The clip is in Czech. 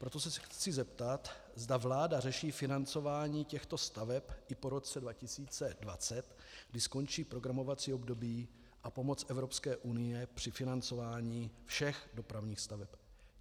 Proto se chci zeptat, zda vláda řeší financování těchto staveb i po roce 2020, kdy skončí programovací období a pomoc Evropské unie při financování všech dopravních staveb.